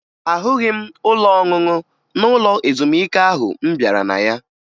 Ahụghị m ụlọ ọṅụṅụ n'ụlọ ezumike ahụ m bịara na ya